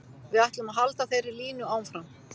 Við ætlum að halda þeirri línu áfram.